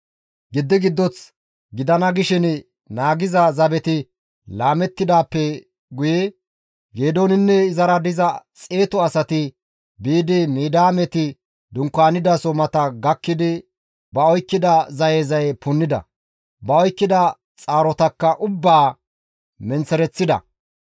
Giddi giddoth gidana gishin naagiza zabeti laamettidaappe guye Geedooninne izara diza xeetu asati biidi Midiyaameti dunkaanidaso mata gakkidi ba oykkida zaye zaye punnida; ba oykkida xaarotakka ubbaa menththereththida.